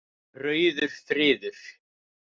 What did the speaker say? Rauður friður